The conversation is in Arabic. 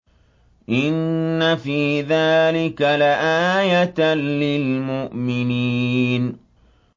إِنَّ فِي ذَٰلِكَ لَآيَةً لِّلْمُؤْمِنِينَ